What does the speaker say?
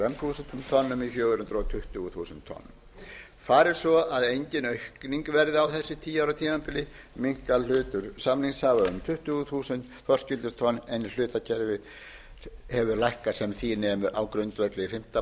tonnum í fjögur hundruð tuttugu þúsund tonn fari svo að engin aukning verði á þessu tíu ára tímabili minnkar hlutur samningsaðila um tuttugu þúsund þorskígildistonn en í hlutakerfi hefur lækkað sem því nemur á grundvelli fimmtán prósent